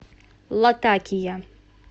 латакия